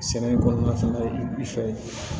Sɛnɛ kɔnɔna fɛnɛ i fɛ